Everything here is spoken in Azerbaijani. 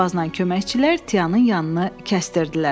Aşbazla köməkçilər Tianın yanını kəsdirirdilər.